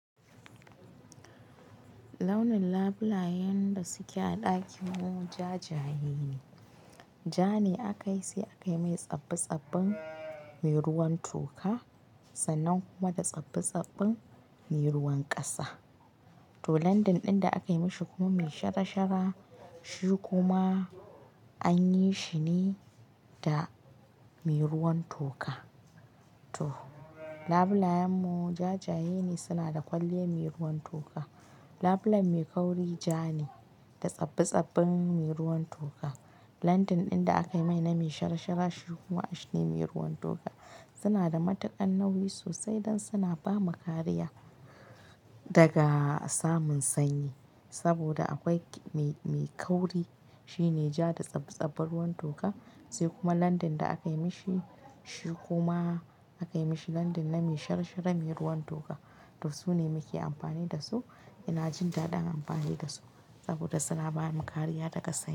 Launin labulayen da suke a ɗakin mu ja jayaye ne Ja ne aka yi sai aka yi mai tsabbi-tsabbin me ruwan toka sannan kuma da tsabbi-tsabbin me ruwan ƙasa. To, landing ɗin da aka yi mashi kuma me shara shara, shi kuma an yi shi ne da me ruwan toka. To, labulayen mu ja jayaye ne, suna da kwalliya me ruwan toka. Labulen me kauri ja ne da tsabbi-tsabbin me ruwan toka. Landin ɗin da aka yi mai na me shara shara, shi kuma ash ne me ruwan toka. Suna da matakan nauyi sosai don suna ba mu kariya daga samun sanyi. Saboda akwai me, me kauri, shi ne ja da tsabbi-tsabbin ruwan toka. Sai kuma landin da aka yi mashi, shi kuma aka yi mashi landin na me shara shara me ruwan toka. To, su ne muke amfani da su. Ina jin daɗin amfani da su saboda suna ba mu kariya daga sanyi.